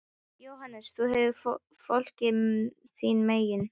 JÓHANNES: Þú hefur fólkið þín megin.